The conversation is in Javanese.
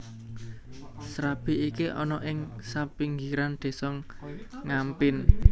Srabi iki ana ing sapinggiran Désa Ngampin